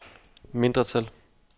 mindretal